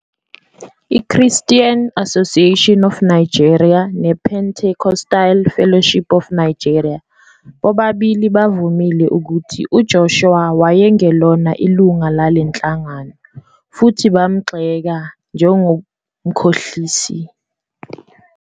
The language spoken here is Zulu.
I-Christian Association of Nigeria nePentecostal Fellowship Of Nigeria bobabili bavumile ukuthi uJoshua wayengelona ilungu lale nhlangano futhi bamgxeka 'njengomkhohlisi'.